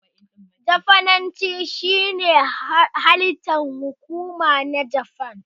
Jafananci shine harshen hukuma na Japan.